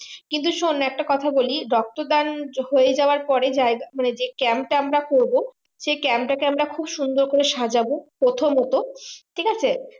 কিন্তু শোন একটা কথা বলি রক্ত দান হয়ে যাওয়ার পরে মানে যে camp তা আমরা করবো সে Camp তাকে আমরা খুব সুন্দর করে সাজাবো প্রথমত ঠিক আছে